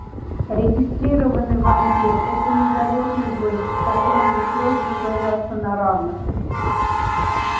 регистрированный вампир это не залётный гость с которым пришлось бы сражаться на равных